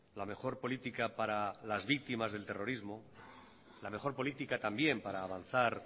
la mejor política para las víctimas del terrorismo la mejor política también para avanzar